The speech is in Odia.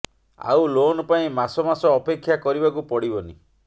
ଆଉ ଲୋନ ପାଇଁ ମାସ ମାସ ଅପେକ୍ଷା କରିବାକୁ ପଡିବନି